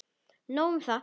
Nóg um það.